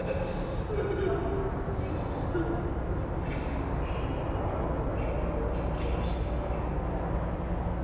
Vanda segir að lið hennar sé ekki búið að gefast upp.